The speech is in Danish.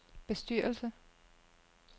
bestyrelse